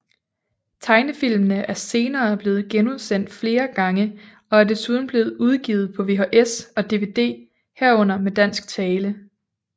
Tegnefilmene er senere blevet genudsendt flere gange og er desuden blevet udgivet på VHS og DVD herunder med dansk tale